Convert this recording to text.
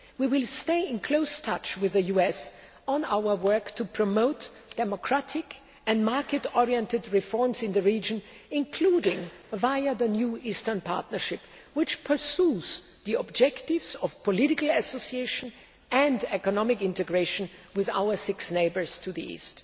We will stay in close touch with the US on our work to promote democratic and market oriented reforms in the region, including via the new Eastern Partnership, which pursues the objectives of political association and economic integration with our six neighbours to the east.